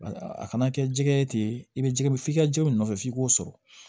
A kana kɛ jɛgɛ ye ten i bɛ jɛgɛ f'i ka jɛgɛw nɔfɛ f'i k'o sɔrɔ